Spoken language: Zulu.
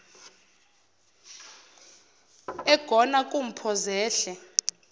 egona kumpho zehle